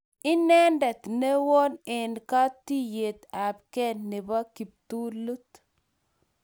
inendet newon enkatiyet ab kee nebo kiptulut